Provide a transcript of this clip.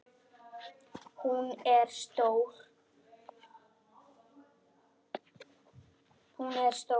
Hún er stór.